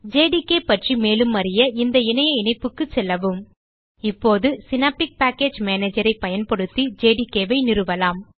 JDK பற்றி மேலும் அறிய இந்த இணைய இணைப்புக்குச் செல்லவும் இப்போது சினாப்டிக் பேக்கேஜ் Managerஐ பயன்படுத்தி ஜேடிகே ஐ நிறுவலாம்